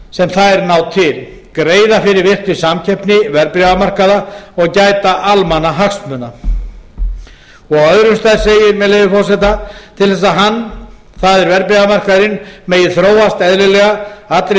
sem þær ná til greiða fyrir virkri starfsemi verðbréfamarkaða og gæta almannahagsmuna á öðrum stað segir til þess að hann það er verðbréfamarkaðurinn megi þróast eðlilega allri